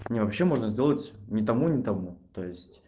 не вообще можно сделать ни тому ни тому то есть